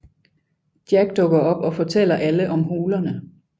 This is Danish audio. Jack dukker op og fortæller alle om hulerne